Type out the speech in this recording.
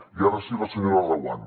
i ara sí la senyora reguant